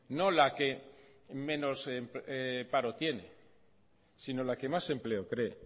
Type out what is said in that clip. no la que menos paro tiene sino la que más empleo cree